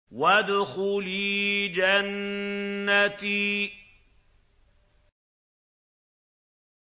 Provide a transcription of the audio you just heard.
وَادْخُلِي جَنَّتِي